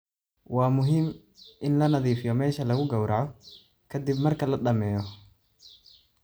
Waa muhiim in la nadiifiyo meesha lagu gowraco ka dib marka la dhammeeyo.